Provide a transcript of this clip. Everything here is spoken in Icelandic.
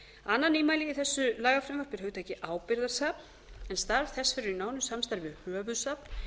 annað nýmæli í þessu lagafrumvarpi er hugtakið ábyrgðarsafn en staðfest verður í nánu samráði við höfuðsöfn